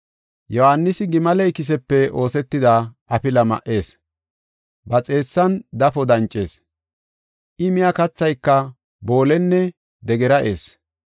Yohaanisi gimale ikisepe oosetida afila ma77ees. Ba xeessan dafo dancees. I miya kathayka boolenne degera eessi.